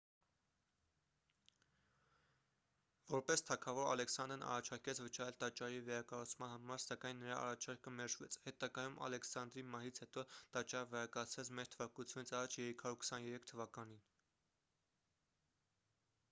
որպես թագավոր ալեքսանդրն առաջարկեց վճարել տաճարի վերակառուցման համար սակայն նրա առաջարկը մերժվեց հետագայում ալեքսանդրի մահից հետո տաճարը վերակառուցվեց մ.թ.ա. 323 թվականին